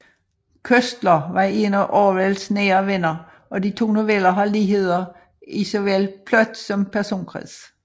Koestler var en af Orwells nære venner og de to noveller har ligheder i såvel plot som personkreds